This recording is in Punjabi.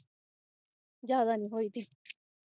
ਜਾਂਦਾ ਨਹੀਂ ਹੋਈ ਥੀ